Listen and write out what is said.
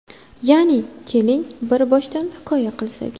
Ya’ni... Keling, bir boshdan hikoya qilsak.